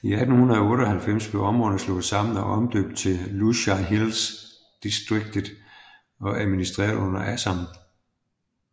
I 1898 blev områderne slået sammen og omdøbt til Lushai Hills Districted og administreret under Assam